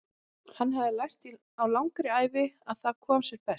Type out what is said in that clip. Hann hafði lært á langri ævi að það kom sér best.